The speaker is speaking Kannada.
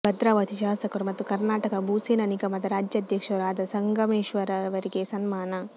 ಭದ್ರಾವತಿ ಶಾಸಕರು ಮತ್ತು ಕನರ್ಾಟಕ ಭೂಸೇನಾ ನಿಗಮದ ರಾಜ್ಯ ಅಧ್ಯಕ್ಷರೂ ಆದ ಸಂಗಮೇಶ್ರವರಿಗೆ ಸನ್ಮಾನ